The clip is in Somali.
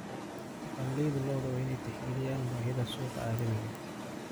Dhaqanleyda lo'du waa inay tixgeliyaan baahida suuqa caalamiga ah.